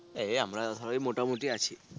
এই আমরা সবাই মোটা মুটি আছি